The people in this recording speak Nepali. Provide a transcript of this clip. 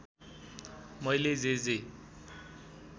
मैले जे जे